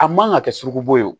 A man ka kɛ sogobo